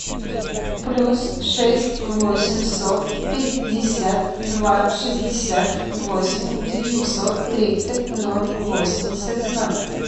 плюс шесть восемьсот пятьдесят два шестьдесят восемь девятьсот тридцать ноль восемьдесят ноль